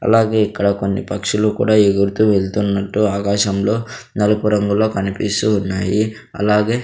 అలాగే ఇక్కడ కొన్ని పక్షులు కూడా ఎగురుతూ వెళ్తున్నట్టు ఆకాశంలో నలుగురంగులో కనిపిస్తూ ఉన్నాయి అలాగే--